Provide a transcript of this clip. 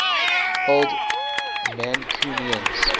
old mancunians